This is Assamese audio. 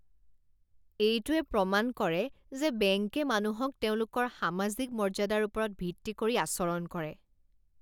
এইটোৱে প্ৰমাণ কৰে যে বেংকে মানুহক তেওঁলোকৰ সামাজিক মৰ্য্যাদাৰ ওপৰত ভিত্তি কৰি আচৰণ কৰে।